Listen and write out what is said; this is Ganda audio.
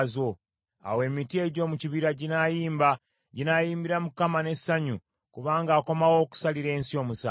Awo emiti egy’omu kibira ginaayimba, ginaayimbira Mukama n’essanyu, kubanga akomawo okusalira ensi omusango.